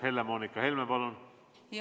Helle-Moonika Helme, palun!